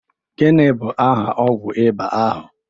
Gini bu aha ọgwu ịba ahu?